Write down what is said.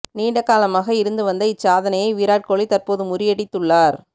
நீண்ட காலமாக இருந்து வந்த இச்சாதனையை விராட் கோலி தற்போது முறியடித்துள்ளார்